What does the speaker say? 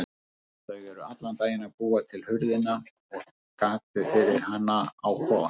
Þau eru allan daginn að búa til hurðina og gatið fyrir hana á kofann.